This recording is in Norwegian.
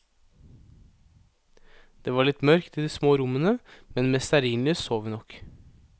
Det var litt mørkt i de små rommene, men med stearinlys så vi nok.